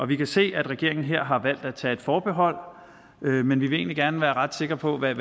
vi kan se at regeringen her har valgt at tage et forbehold men vi vil egentlig gerne være ret sikre på hvad